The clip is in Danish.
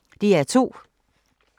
DR2